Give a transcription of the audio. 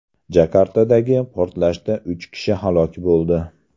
Jakartadagi portlashda uch kishi halok bo‘ldi.